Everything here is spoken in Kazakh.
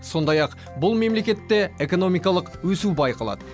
сондай ақ бұл мемлекетте экономикалық өсу байқалады